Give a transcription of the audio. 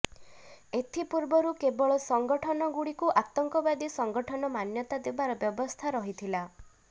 ଏଥିପୂର୍ବରୁ କେବଳ ସଂଗଠନଗୁଡ଼ିକୁ ଆତଙ୍କବାଦୀ ସଂଗଠନ ମାନ୍ୟତା ଦେବାର ବ୍ୟବସ୍ଥା ରହିଥିଲା